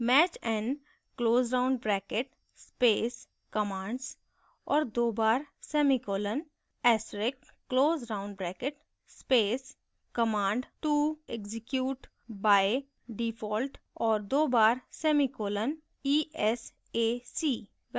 match _ n close round bracket space commands और दो बार semicolon asterisk close round bracket space command _ to _ execute _ by _ default और दो बार semicolon esac